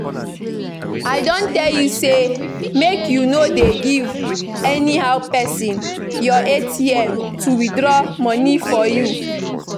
I don tell you say make you no dey give anyhow person your atm to withdraw money for you